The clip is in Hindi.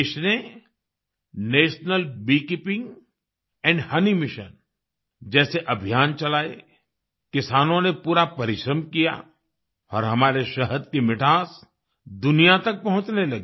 देश ने national beekeeping and honey mission जैसे अभियान चलाए किसानों ने पूरा परिश्रम किया और हमारे शहद की मिठास दुनिया तक पहुँचने लगी